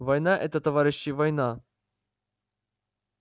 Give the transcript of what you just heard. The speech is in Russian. война это товарищи война